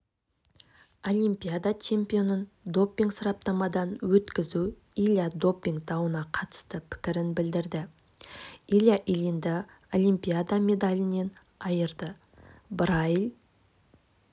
олимпиада чемпионын допинг-сараптамадан өткізу илья допинг дауына қатысты пікірін білдірді илья ильинді олимпиада медалінен айырды брайль